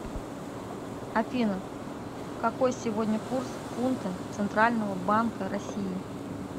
афина какой сегодня курс фунта центрального банка россии